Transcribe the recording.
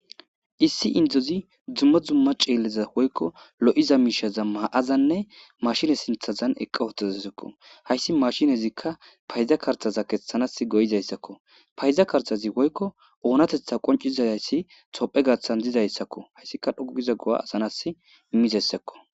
Issi indzozi dzummo dzumma ceelleza woykko lo'iza miishaza ma'azanne mashine sinthazan eqqa hotazasakko hayssi mashinezikka payza kartaza keththanas go'izayssakko payza kartazi woykko oonatetha qoncizadayssi tophe gathan dizayssakko hayssika dhogiza go'a asanas immizayssakko.